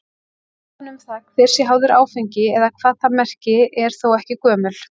Umræðan um það hver sé háður áfengi eða hvað það merki er þó ekki gömul.